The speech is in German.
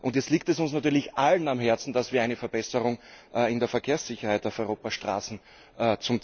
Jetzt liegt es uns natürlich allen am Herzen, dass wir eine Verbesserung in der Verkehrssicherheit auf Europas Straßen erreichen.